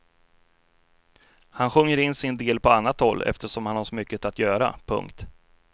Han sjunger in sin del på annat håll eftersom han har så mycket att göra. punkt